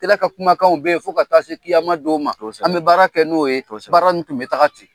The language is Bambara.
Kira ka kumakanw bɛ yen fɔ ka taa se don ma, kosɛbɛ, an bɛ baara kɛ n'o ye, kosɛbɛ, baara in tun bɛ taga ten.